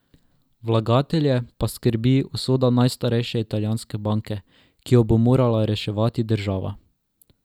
Vlagatelje pa skrbi usoda najstarejše italijanske banke, ki jo bo morala reševati država.